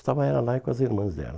Estava ela lá e com as irmãs dela.